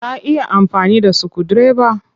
Ka iya amfani da sukudireba?